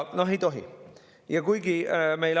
Noh, ei tohi!